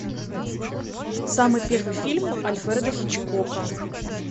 самый первый фильм альфреда хичкока